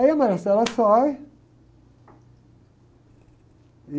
Aí a sai e...